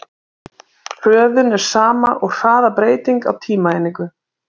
Hröðun er sama og hraðabreyting á tímaeiningu.